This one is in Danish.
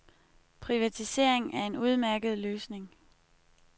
Privatisering er en udmærket løsning.